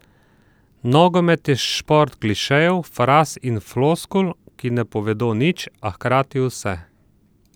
Nogomet je šport klišejev, fraz in floskul, ki ne povedo nič, a hkrati vse.